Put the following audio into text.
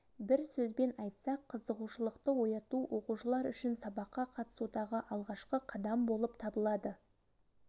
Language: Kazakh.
бір сөзбен айтсақ қызығушылықты ояту оқушылар үшін сабаққа қатысудағы алғашқы қадам болып табылады